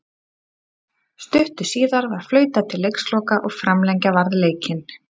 Stuttu síðar var flautað til leiksloka og framlengja varð leikinn.